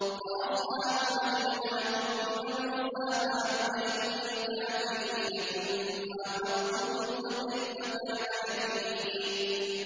وَأَصْحَابُ مَدْيَنَ ۖ وَكُذِّبَ مُوسَىٰ فَأَمْلَيْتُ لِلْكَافِرِينَ ثُمَّ أَخَذْتُهُمْ ۖ فَكَيْفَ كَانَ نَكِيرِ